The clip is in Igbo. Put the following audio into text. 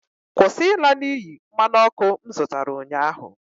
Kwụsị ịla n'iyi mmanụ ọkụ m zụtara ụnyaahụ!